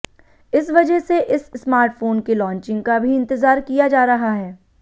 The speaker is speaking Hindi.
इस वजह से इस स्मार्टफोन के लॉन्चिंग का भी इंतजार किया जा रहा है